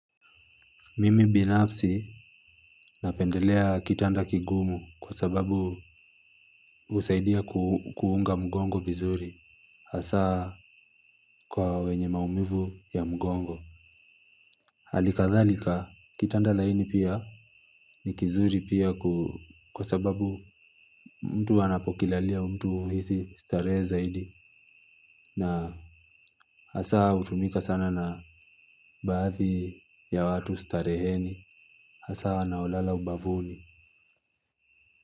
Mimi binafsi napendelea kitanda kigumu kwa sababu husaidia kuunga mgongo vizuri hasa kwa wenye maumivu ya mgongo. Hali kadhalika kitanda laini pia. Ni kizuri pia kwa sababu mtu anapokilalia mtu huisi starehe zaidi. Na hasa hutumika sana na baadhi ya watu stareheni. Hasa wanaolala ubavuni.